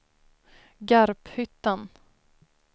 Garphyttan